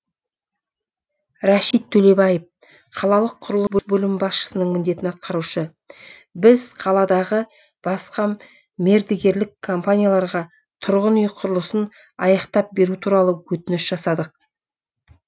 рәшит төлебаев қалалық құрылыс бөлімі басшысының міндетін атқарушы біз қаладағы басқа мердігерлік компанияларға тұрғын үй құрылысын аяқтап беру туралы өтініш жасадық